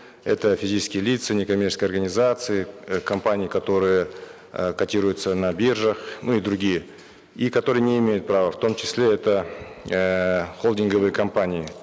это физические лица некоммерческие организации э компании которые э котируются на биржах ну и другие и которые не имеют права в том числе это эээ холдинговые компании